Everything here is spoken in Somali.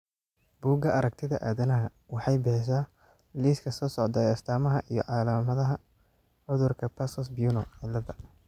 Bugaa aragtida aadanaha waxay bixisaa liiska soo socda ee astamaha iyo calaamadaha cudurka Passos Bueno ciladha.